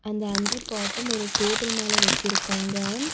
அந்த அஞ்சு பாட்டும் ஒரு டேபிள் மேல வெச்சிருக்காங்க.